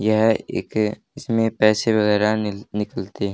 यह एक इसमें पैसे वगैरा निक निकलते--